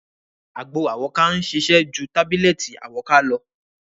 Àgbo àwọ́ká ń ṣiṣẹ́ ju Tábílẹ̀tì àwọ́ká lọ.